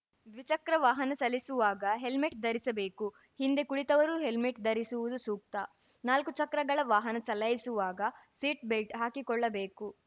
ದ್ವಿಚಕ್ರ ವಾಹನ ಚಲಿಸುವಾಗ ಹೆಲ್ಮೆಟ್‌ ಧರಿಸಿರಬೇಕು ಹಿಂದೆ ಕುಳಿತವರೂ ಹೆಲ್ಮೆಟ್‌ ಧರಿಸುವುದು ಸೂಕ್ತ ನಾಲ್ಕು ಚಕ್ರಗಳ ವಾಹನ ಚಲಾಯಿಸುವಾಗ ಸೀಟ್‌ ಬೆಲ್ಟ್‌ ಹಾಕಿಕೊಳ್ಳಬೇಕು